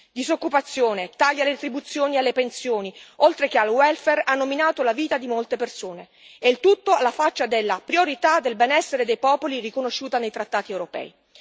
Disoccupazione, tagli alle retribuzioni e alle pensioni oltre che al welfare hanno minato la vita di molte persone, e il tutto alla faccia della priorità del benessere dei popoli riconosciuta nei trattati europei.